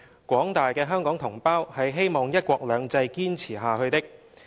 廣大的香港同胞是希望'一國兩制'堅持下去的。